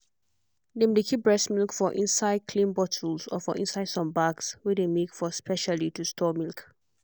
dem dey keep breast milk for inside clean bottles or for inside some bags wey dey make for specially to store milk.